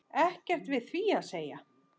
Ekkert við því að segja.